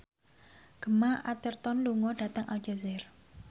Gemma Arterton lunga dhateng Aljazair